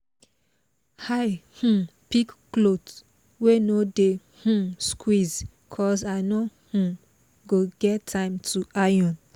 i um pick cloth wey no dey um squeeze cos i no um go get time to iron